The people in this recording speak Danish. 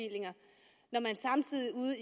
jeg det